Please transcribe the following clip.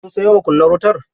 Kun sayo makunnar wutar?